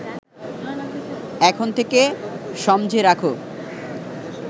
এখন থেকে সমঝে রাখ